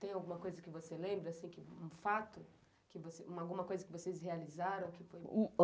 Tem alguma coisa que você lembra, um fato, alguma coisa que vocês realizaram?